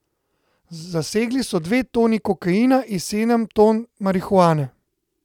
Zasegli so dve toni kokaina in sedem ton marihuane.